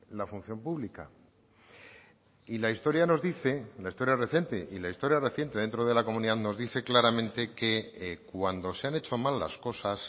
la función pública y la historia nos dice la historia reciente y la historia reciente dentro de la comunidad nos dice claramente que cuando se han hecho mal las cosas